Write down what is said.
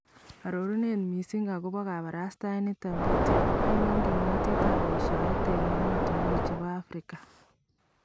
Arorunet missing akobo kabrastaet niton bityo , ainon kimnatetab yeshaeet en emotunwek chebo Afrika?